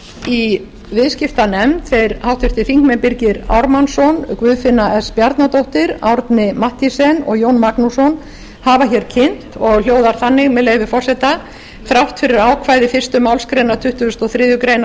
í viðskiptanefnd þeir háttvirtur þingmaður birgir ármannsson og guðfinna s bjarnadóttir árni mathiesen og jón magnússon hafa hér kynnt og hljóðar þannig með leyfi forseta þrátt fyrir ákvæði fyrstu málsgrein tuttugustu og þriðju grein